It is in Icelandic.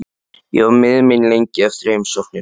Ég var miður mín lengi eftir heimsóknina.